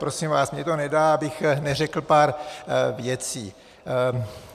Prosím vás, mně to nedá, abych neřekl pár věcí.